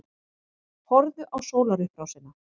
Horfðu á sólarupprásina.